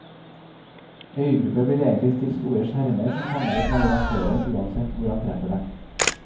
Øygrupper blir egentlig til store skjermer som fanger opp navigatøren uansett hvor han treffer dem.